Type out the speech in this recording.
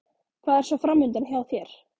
Hvað er svo framundan hjá þér?